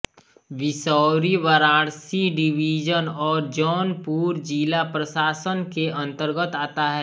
Bisauri Varanasi division और जौनपुर जिला प्रशासन के अंतर्गत आता है